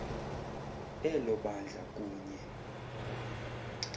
elo bandla kunye